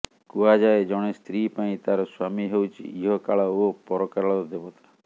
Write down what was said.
କୁହାଯାଏ ଜଣେ ସ୍ତ୍ରୀ ପାଇଁ ତାର ସ୍ୱାମୀ ହେଉଛି ଇହ କାଳ ଏବଂ ପରକାଳର ଦେବତା